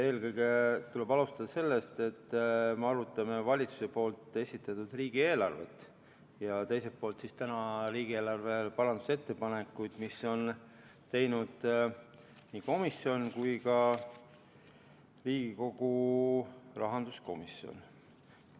Eelkõige tuleb alustada sellest, et me arutame valitsuse esitatud riigieelarvet ja teiselt poolt riigieelarve parandusettepanekuid, mida on teinud nii Riigikogu liikmed kui ka Riigikogu rahanduskomisjon.